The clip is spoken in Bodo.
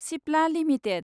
सिप्ला लिमिटेड